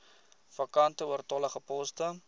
vakante oortollige poste